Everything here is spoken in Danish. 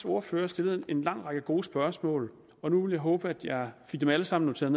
ordfører stillet en lang række gode spørgsmål og nu vil jeg håbe at jeg fik dem alle sammen noteret